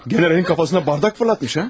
Generalın başına stəkan atmış ha?